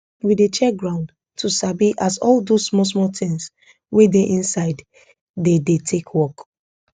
we dey check ground to sabi as all those small small things wey dey inside dey dey take work